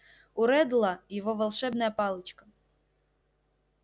у реддла его волшебная палочка